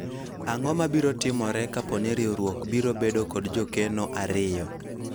ang'o mabiro timore kapo ni riwruok biro bedo kod jokeno ariyo ?